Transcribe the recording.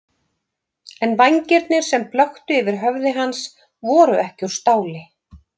En vængirnir sem blöktu yfir höfði hans voru ekki úr stáli.